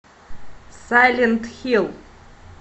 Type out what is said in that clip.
сайлент хилл